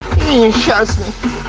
сейчас